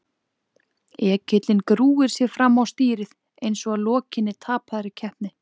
Ekillinn grúfir sig fram á stýrið eins og að lokinni tapaðri keppni.